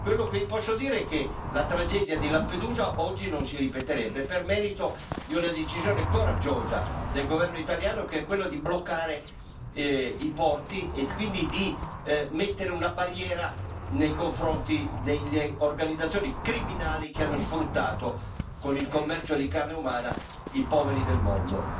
Quello che vi posso dire è che la tragedia di Lampedusa oggi non si ripeterebbe per merito di una decisione coraggiosa del governo italiano, che è quella di bloccare e i porti e quindi di mettere una barriera nei confronti delle organizzazioni criminali che hanno sfruttato, con il commercio di carne umana, i poveri del mondo.